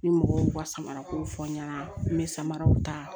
Ni mɔgɔw y'u ka samara kow fɔ n ɲɛna n be samaraw ta